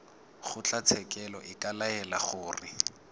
kgotlatshekelo e ka laela gore